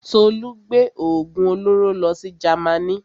Tolú gbé òògùn olóró lọ sí Jamaní.